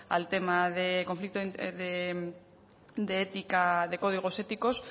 al tema de conflicto de ética de códigos éticos